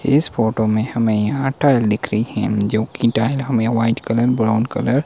इस फोटो में हमें यहा टाईल दिख रही है जो की टाईल हमे वाइट कलर ब्राउन कलर --